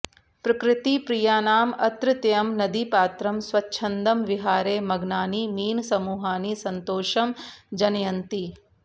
प्रकृतिप्रियानां अत्रत्यं नदीपात्रं स्वच्छन्दं विहारे मग्नानि मीनसमूहानि सन्तोषं जनयन्ति